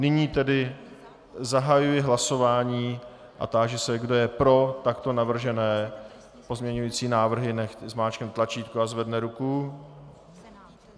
Nyní tedy zahajuji hlasování a táži se, kdo je pro takto navržené pozměňovací návrhy, nechť zmáčkne tlačítko a zvedne ruku.